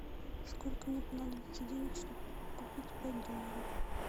сколько мне понадобится денег чтобы купить пять долларов